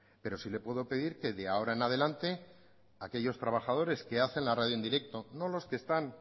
pero sí le puedo pedir que de ahora en adelante aquellos trabajadores que hacen la radio en directo no los que están